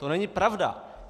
To není pravda!